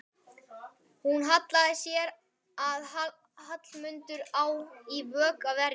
Hún sér að Hallmundur á í vök að verjast.